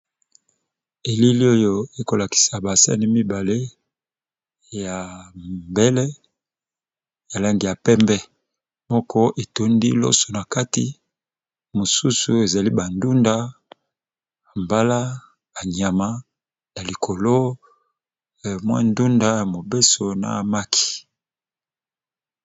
Elili oyo ekolakisa baaseni mibale ya mbele ya langi ya pembe moko etondi loso na kati mosusu ezali bandunda mbala banyama ya likolo mwa ndunda ya mobeso na maki.